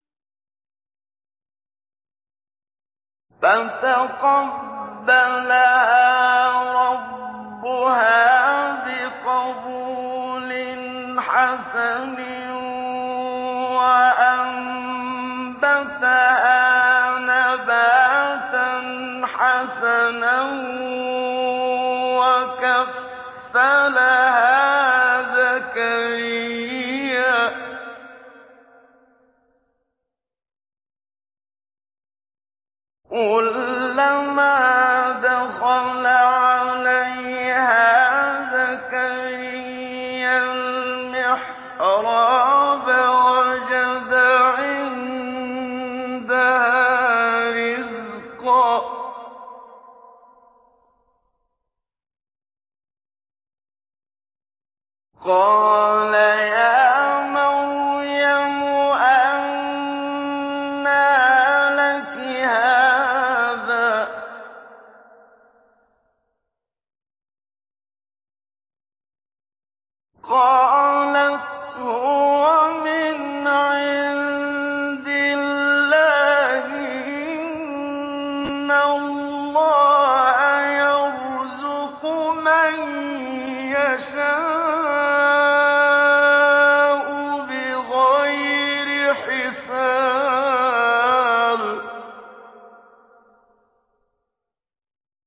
فَتَقَبَّلَهَا رَبُّهَا بِقَبُولٍ حَسَنٍ وَأَنبَتَهَا نَبَاتًا حَسَنًا وَكَفَّلَهَا زَكَرِيَّا ۖ كُلَّمَا دَخَلَ عَلَيْهَا زَكَرِيَّا الْمِحْرَابَ وَجَدَ عِندَهَا رِزْقًا ۖ قَالَ يَا مَرْيَمُ أَنَّىٰ لَكِ هَٰذَا ۖ قَالَتْ هُوَ مِنْ عِندِ اللَّهِ ۖ إِنَّ اللَّهَ يَرْزُقُ مَن يَشَاءُ بِغَيْرِ حِسَابٍ